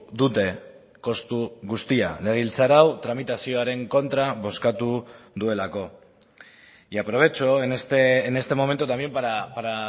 dute kostu guztia legebiltzar hau tramitazioaren kontra bozkatu duelako y aprovecho en este momento también para